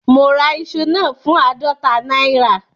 Mo ra iṣu náà fún àádọta náírà